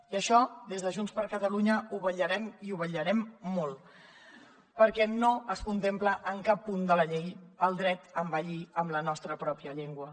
i això des de junts per catalunya ho vetllarem i ho vetllarem molt perquè no es contempla en cap punt de la llei el dret a envellir en la nostra pròpia llengua